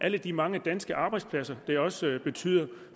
alle de mange danske arbejdspladser det også har betydning